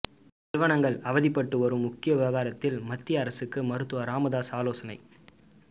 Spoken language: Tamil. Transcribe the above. நிறுவனங்கள் அவதிப்பட்டு வரும் முக்கிய விவகாரத்தில் மத்திய அரசுக்கு மருத்துவர் ராமதாஸ் ஆலோசனை